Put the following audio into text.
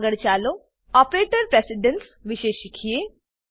આગળ ચાલો operator precedence વિશે શીખીએ